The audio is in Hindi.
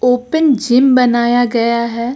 ओपन जिम बनाया गया है।